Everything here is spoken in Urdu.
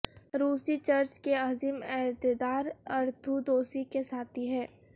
روسی چرچ کے عظیم عہدیدار ارتھودوسی کے ساتھی ہیں